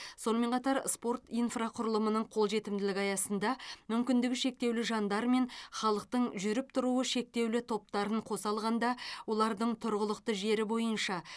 сонымен қатар спорт инфрақұрылымының қолжетімділігі аясында мүмкіндігі шектеулі жандар мен халықтың жүріп тұруы шектеулі топтарын қоса алғанда олардың тұрғылықты жері бойынша